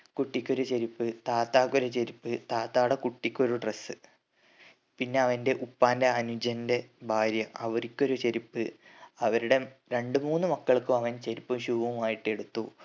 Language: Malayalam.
കുട്ടിക്കൊരു ചെരുപ്പ് താത്താക്ക് ഒരു ചെരുപ്പ് താത്താടെ കുട്ടിക്കൊരു dress പിന്നെ അവന്റെ ഉപ്പാന്റെ അനുജന്റെ ഭാര്യ അവരിക്കൊരു ചെരുപ്പ് അവരുടെ രണ്ട് മൂന്ന് മക്കൾക്ക് അവൻ ചെരുപ്പും shoe മായിട്ട് എടുത്തു